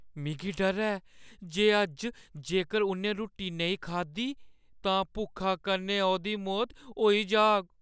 मिगी डर ऐ जे अज्ज जेकर उʼन्नै रुट्टी नेईं खाद्धी तां भुक्खा कन्नै ओह्‌दी मौत होई जाह्‌ग।